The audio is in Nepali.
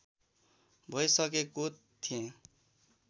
भइसकेको थिएँ